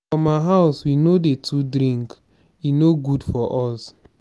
for my house we no dey too drink e no good for us.